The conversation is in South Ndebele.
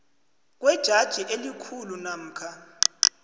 kwejaji elikhulu namkha